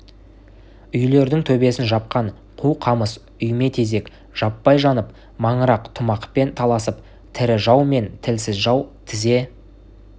үйлердің төбесін жапқан қу қамыс үйме тезек жаппай жанып маңырақ тамұқпен таласып тірі жау мен тілсіз жау тізе